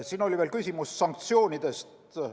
Siin oli veel küsimus sanktsioonidest.